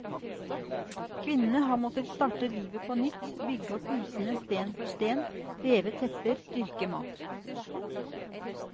Kvinnene har måttet starte livet på nytt, bygge opp husene sten for sten, veve tepper, dyrke mat.